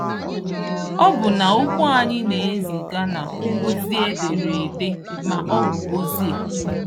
Ọbụna okwu anyị na-eziga na ozi ederede ma ọ bụ ozi-e.